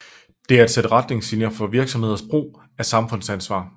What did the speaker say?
Det er et sæt retningslinjer for virksomheders brug af samfundsansvar